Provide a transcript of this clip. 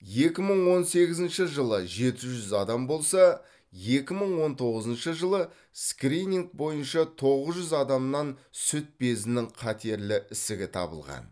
екі мың он сегізінші жылы жеті жүз адам болса екі мың он тоғызыншы жылы скрининг бойынша тоғыз жүз адамнан сүт безінің қатерлі ісігі табылған